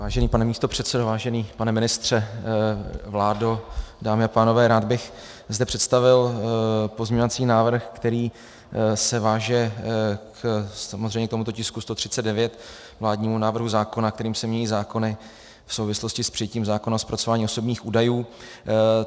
Vážený pane místopředsedo, vážený pane ministře, vládo, dámy a pánové, rád bych zde představil pozměňovací návrh, který se váže samozřejmě k tomuto tisku 139, vládnímu návrhu zákona, kterým se mění zákony v souvislosti s přijetím zákona o zpracování osobních údajů.